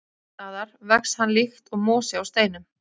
Sums staðar vex hann líkt og mosi á steinum.